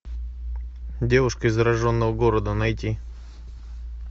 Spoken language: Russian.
девушка из зараженного города найти